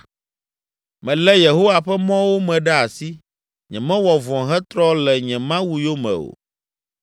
Melé Yehowa ƒe mɔwo me ɖe asi. Nyemewɔ vɔ̃ hetrɔ le nye Mawu yome o;